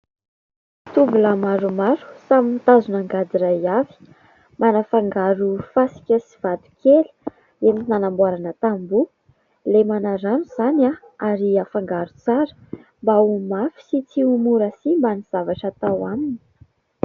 Tovolahy maromaro samy mitazona angady iray avy. Manafangaro fasika sy vato kely entina hamboarana tamboho : lemana rano izany ary hafangaro tsara mba ho mafy sy tsy ho mora simba ny zavatra atao aminy.